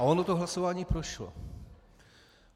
A ono to hlasování prošlo.